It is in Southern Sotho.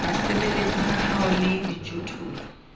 basebeletsi ba hao le dijothollo